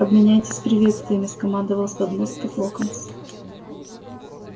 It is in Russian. обменяйтесь приветствиями скомандовал с подмостков локонс